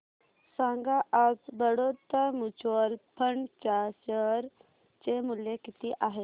सांगा आज Baroda mutual fund च्या शेअर चे मूल्य किती आहे